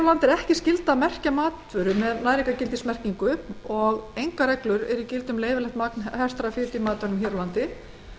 landi er ekki skylda að merkja matvöru með næringargildismerkingu engar reglur eru í gildi um leyfilegt magn hertrar fitu í matvælum hér á landi